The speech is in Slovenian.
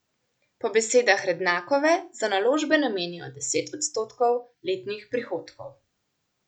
Po besedah Rednakove za naložbe namenjajo deset odstotkov letnih prihodkov.